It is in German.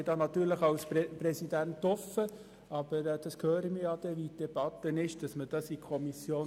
Als Präsident bin ich offen für eine allfällige Rücknahme in die Kommission.